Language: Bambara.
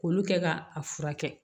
K'olu kɛ ka a furakɛ